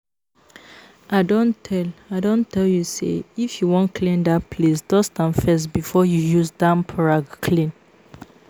I don tell I don tell you say if you wan clean dat place dust am first before you use damp rag clean